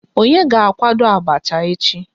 Onye ga akwado abacha echi?